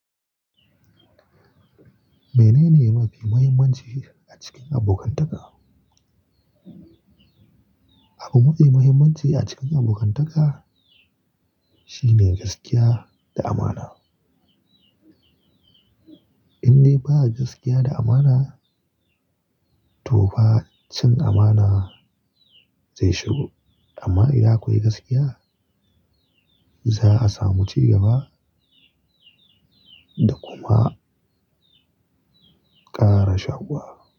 Menene mafi muhimmanci a cikin abokantaka? Abu mafi muhimmanci a cikin abokantaka, shine gaskiya da amana. In dai ba gaskiya da amana, to fa cin amana zai shigo. Amma idan akwai gaskiya, za a samu cigaba da kuma ƙara shaƙuwa.